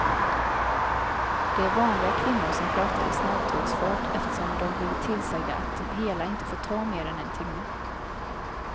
Det är vanliga kvinnor som pratar i snälltågsfart eftersom de blivit tillsagda att det hela inte får ta mer än en timme.